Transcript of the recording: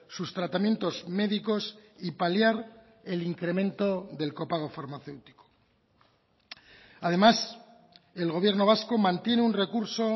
sus tratamientos médicos y paliar el incremento del copago farmacéutico además el gobierno vasco mantiene un recurso